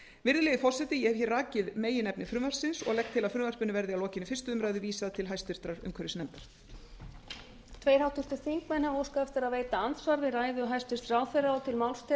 virðulegi forseti ég hef hér rakið meginefni frumvarpsins og legg til að frumvarpinu verði að lokinni fyrstu umræðu vísað til hæstvirtrar umhverfisnefndar